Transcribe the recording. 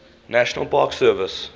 national park service